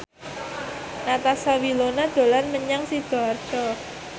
Natasha Wilona dolan menyang Sidoarjo